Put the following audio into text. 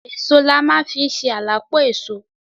Èso la ma fi ń ṣe à la pọ èso.